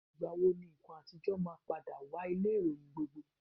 Ìgbà wo ni nǹkan àtijọ́ máa padà wá ilé-ìròyìn gbogbo?